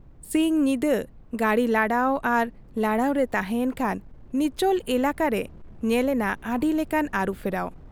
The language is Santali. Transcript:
ᱥᱤᱧ ᱧᱤᱫᱟᱹ ᱜᱟᱹᱰᱤ ᱞᱟᱲᱟᱣ ᱟᱨ ᱞᱟᱲᱟᱣ ᱨᱮ ᱛᱟᱦᱮᱸ ᱮᱱᱠᱷᱟᱱ ᱱᱤᱪᱚᱞ ᱮᱞᱟᱠᱟ ᱨᱮ ᱧᱮᱞ ᱮᱱᱟ ᱟᱹᱰᱤ ᱞᱮᱠᱟᱱ ᱟᱹᱨᱩ ᱯᱷᱮᱨᱟᱣ ᱾